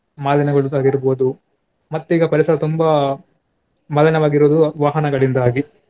ಮಾಲಿನ್ಯಗೊಳ್ಳುವುದಾಗಿರ್ಬೋದು ಮತ್ತೆ ಈಗ ಪರಿಸರ ತುಂಬಾ ಮಾಲಿನ್ಯವಾಗಿರುವುದು ವಾಹನಗಳಿಂದಾಗಿ.